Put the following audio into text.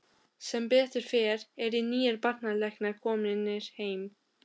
Sem betur fer eru nýir barnalæknar komnir heim.